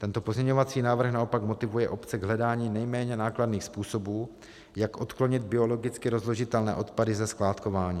Tento pozměňovací návrh naopak motivuje obce k hledání nejméně nákladných způsobů, jak odklonit biologicky rozložitelné odpady ze skládkování.